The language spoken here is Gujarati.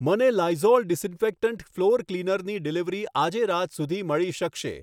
મને લાઈઝોલ ડીસઈનફેક્ટટંટ ફ્લોર ક્લિનરની ડિલિવરી આજે રાત સુધી મળી શકશે?